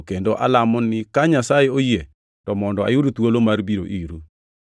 kendo alamo ni ka Nyasaye oyie to mondo ayud thuolo mar biro iru.